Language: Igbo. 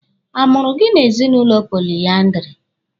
A mụrụ gị n'ezinụlọ poliandiri?